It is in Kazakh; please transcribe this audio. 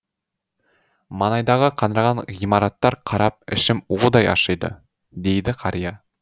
маңайдағы қаңыраған ғимараттар қарап ішім удай ашиды дейді қария